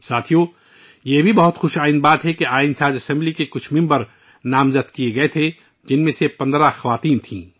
ساتھیو، یہ بات پھر سے متاثر کن ہے کہ آئین ساز اسمبلی کے انہی ارکان میں سے ، جن کو نامزد کیا گیا تھا، 15 خواتین تھیں